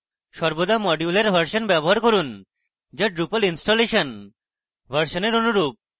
সর্বদা module এর version ব্যবহার করুন যা drupal installation version এর অনুরূপ